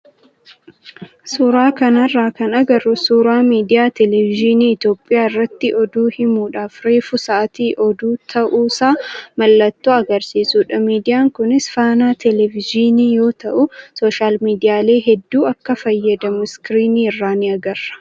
Suuraa kanarraa kan agarru suuraa miidiyaa televezyiinii Itoophiyaa irratti oduu himuudhaaf reefu sa'aatii oduu ta'uusaa mallattoo agarsiisudha. Miidiyaan kunis Faanaa televezyiinii yoo ta'u, sooshaal miidiyaalee hedduu akka fayyadamu iskiriinii irraa ni agarra.